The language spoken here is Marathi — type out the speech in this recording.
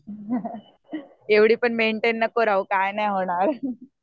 एवढी पण मेंटेन नको राहू काय नाही होणार.